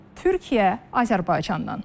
Türkiyə Azərbaycandan.